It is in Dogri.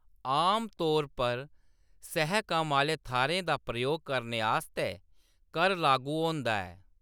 आमतौर पर सह-कम्म आह्‌ले थाह्‌रें दा प्रयोग करने आस्तै कर लागू होंदा ऐ।